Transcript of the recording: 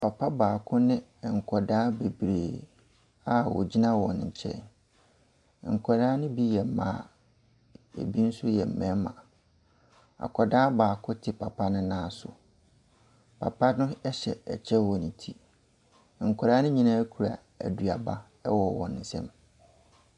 Papa baako ne nkwadaa bebree a wɔgyina wɔn nkyɛn. Nkwadaa no bi yɛ mma, na ɛbi nso yɛ mmarima. Akwadaa baako te papa no nan so. Pap no hyɛ ɛkyɛ wɔ ne ti. Nkwadaa no nyinaa kura aduaba wɔ wɔn nsam.